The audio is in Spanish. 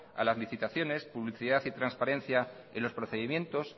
a las licitaciones publicidad y transparencia en los procedimientos